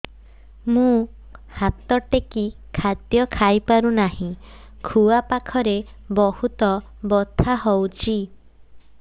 ମୁ ହାତ ଟେକି ଖାଦ୍ୟ ଖାଇପାରୁନାହିଁ ଖୁଆ ପାଖରେ ବହୁତ ବଥା ହଉଚି